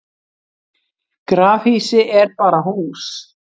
grafhýsi er bara hús